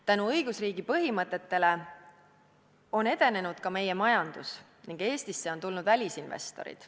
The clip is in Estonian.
Tänu õigusriigi põhimõtetele on edenenud ka meie majandus ja Eestisse on tulnud välisinvestorid.